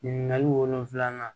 Ɲininkali wolonfila